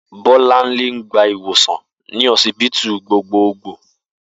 Bó̩lánlé ń gba iwòsàn ní ho̩sibítù gbogboogbò